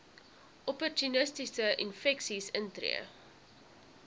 opportunistiese infeksies intree